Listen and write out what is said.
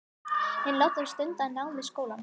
Hinn látni stundaði nám við skólann